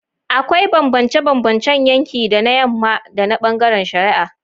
Akwai bambance-bambancen yanki da na yamma na bangaren shari'a.